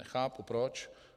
Nechápu proč.